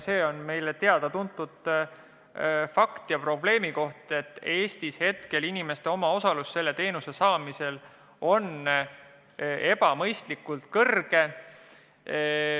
See on meile teada-tuntud probleem, et Eestis on inimeste omaosalus selle teenuse saamisel ebamõistlikult suur.